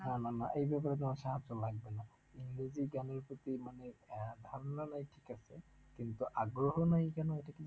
না না না, এই ব্যাপারে তোমার সাহায্য লাগবেনা ইংরেজি গানের প্রতি মানে আহ ধারণা নেই ঠিক আছে, কিন্তু আগ্রহ নেই কেন এটা কি